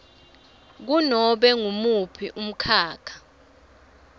kunobe ngumuphi umkhakha